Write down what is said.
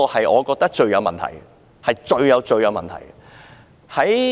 我覺得這是最有問題的。